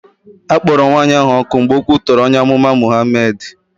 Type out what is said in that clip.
A kpọrọ nwaanyị ahụ ọkụ mgbe o kwutọrọ onye amụma Mụhamed.